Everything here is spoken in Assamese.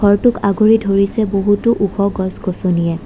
ঘৰটোক আগুৰি ধৰিছে বহুতো ওখ গছ-গছনিয়ে।